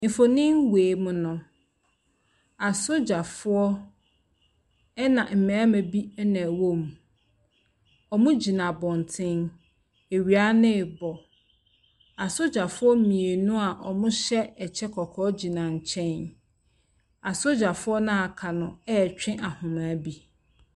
Mfonin wei mu no, asogyafoɔ, ɛna mmarima bi na wɔwɔ mu. Wɔgyina abɔntene. Awia no rebɔ. Asogyafoɔ mmienu a wɔgyɛ ɛkyɛ kɔkɔɔ gyina nkyɛn. Asogyafoɔ no a wɔaka no retwe ahoma bi.